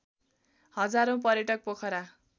हजारौँ पर्यटक पोखरा